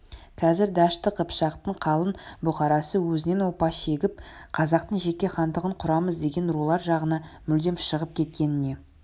қазір дәшті қыпшақтың қалың бұқарасы өзінен опа шегіп қазақтың жеке хандығын құрамыз деген рулар жағына мүлдем шығып кеткеніне